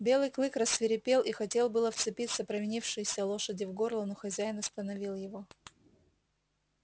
белый клык рассвирепел и хотел было вцепиться провинившейся лошади в горло но хозяин остановил его